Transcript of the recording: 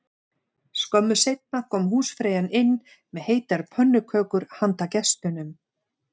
Skömmu seinna kom húsfreyjan inn með heitar pönnukökur handa gestunum